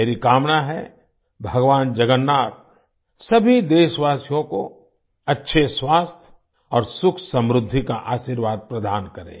मेरी कामना है भगवान जगन्नाथ सभी देशवासियों को अच्छे स्वास्थ्य और सुखसमृद्धि का आशीर्वाद प्रदान करें